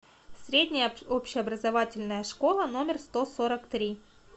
средняя общеобразовательная школа номер сто сорок три